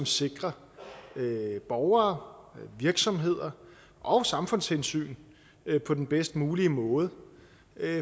sikrer borgere virksomheder og samfundshensyn på den bedst mulige måde